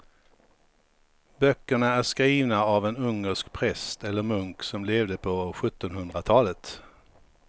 Böckerna är skrivna av en ungersk präst eller munk som levde på sjuttonhundratalet.